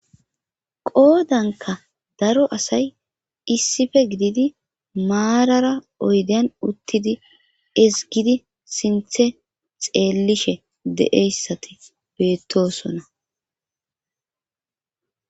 qoodanka daro asay issife gididi maarara oyden uttidi isgidi sinthe xeellishe de7eyssati beettosona